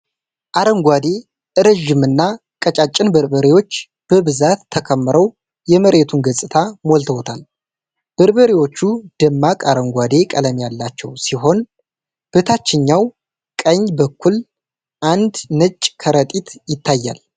አረንጓዴ፣ ረዥምና ቀጫጭን በርበሬዎች በብዛት ተከምረው የመሬቱን ገጽታ ሞልተዉታል። በርበሬዎቹ ደማቅ አረንጓዴ ቀለም ያላቸው ሲሆን፣ በታችኛው ቀኝ በኩል አንድ ነጭ ከረጢት ይታያል።